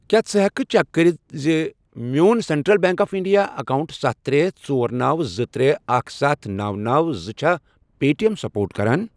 کیٛاہ ژٕ ہٮ۪کہٕ چیک کٔرِتھ زِ میون central bank of India account ستھَ، ترے، ژۄر، نوَ، زٕ، ترے، اکھَ، ستھَ، نوَ، نوَ، زٕ، چھا پے ٹی ایٚم سپورٹ کران؟